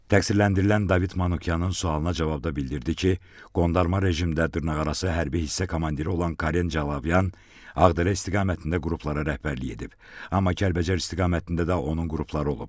Təqsirləndirilən David Manukyanın sualına cavabda bildirdi ki, qondarma rejimdə dırnaqarası hərbi hissə komandiri olan Karen Calavyan Ağdərə istiqamətində qruplara rəhbərlik edib, amma Kəlbəcər istiqamətində də onun qrupları olub.